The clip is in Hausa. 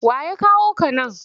Wa ya kawo ka nan?